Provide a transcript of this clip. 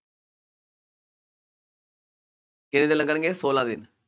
ਕਿਂੰਨੇ ਦਿਨ ਲੱਗਣਗੇ ਸੋਲਾਂ ਦਿਨ